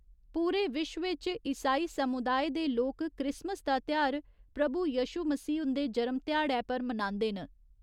पूरे विश्व इच ईसाई समुदाए दे लोक क्रिसमस दा तेहार प्रभु यशु मसीह हुन्दे जरम ध्याड़ै पर मनांदे न।